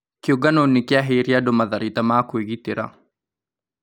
Kĩũngano nĩ kĩaheīre andũ matharaita ma kũĩgitĩra